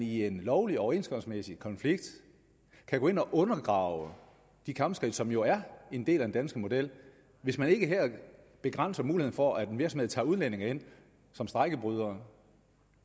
i en lovlig overenskomstmæssig konflikt kan gå ind og undergrave de kampskridt som jo er en del af den danske model hvis man ikke her begrænser muligheden for at en virksomhed tager udlændinge ind som strejkebrydere